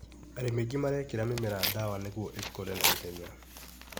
Arĩmi aingĩ marekĩra mĩmera dawa nĩguo ĩkũre na ihenya